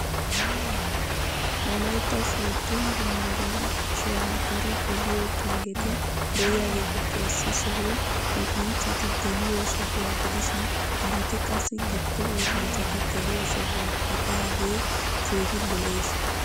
Wolaytta sooddo yumburshiyaw daro geliyo pengeti de'iyaageetuppe issi sohoy luxanchchati geliyo sohuwa gidishin haraati qassi giddo oosanchati geliyo sohuwa gidaagee keehi lo'ees.